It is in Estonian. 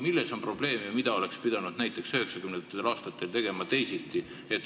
Milles on probleem ja mida oleks pidanud näiteks üheksakümnendatel aastatel tegema teisiti?